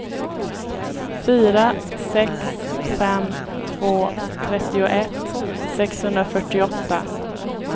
fyra sex fem två trettioett sexhundrafyrtioåtta